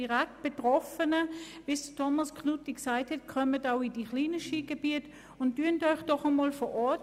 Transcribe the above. Kommen Sie auch in die kleinen Skigebiete, zu den direkt Betroffenen.